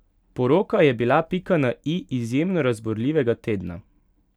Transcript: Poroka je bila pika na i izjemno razburljivega tedna.